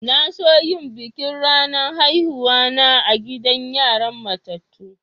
Na so yin bikin ranar haihuwa na a'gidan yaran matatu.